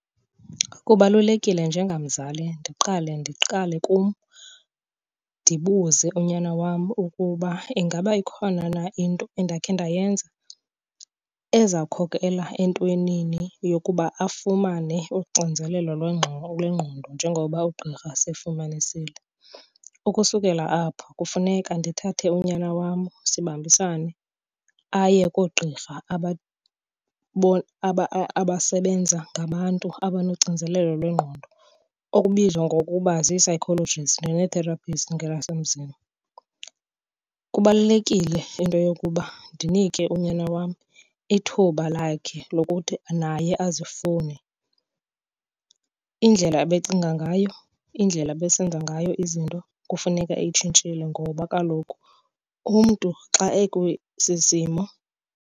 Kubalulekile njengamzali ndiqale ndiqale kum ndibuze unyana wam ukuba ingaba ikhona na into endakhe ndayenza ezawukhokela entwenini yokuba afumane uxinzelelo lwengqondo njengoba ugqirha sefumanisile. Ukusukela apho kufuneka ndithathe unyana wam sibambisane aye koogqirha abasebenza ngabantu abanoxinzelelo lwengqondo okubizwa ngokuba zii-psychologists nee-therapist ngelasemzini. Kubalulekile into yokuba ndinike unyana wam ithuba lakhe lokuthi naye azifune. Indlela ebecinga ngayo, indlela ebesenza ngayo izinto kufuneka etshintshile ngoba kaloku umntu xa ekwesi simo.